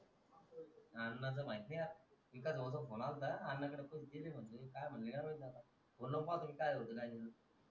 अण्णा च माहित नाही इकास भाऊचा phone अल्ता अण्णा कडे ते भी महिणतले काय म्हण्टले बोलो पाटील काय होतंय